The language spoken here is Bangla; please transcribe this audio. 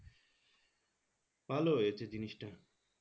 ভালো হয়েছে জিনিসটা